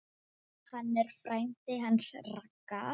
Hann er frændi hans Ragga.